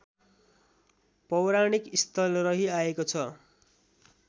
पौराणिक स्थल रहिआएको छ